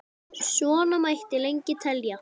Svona mætti lengi telja.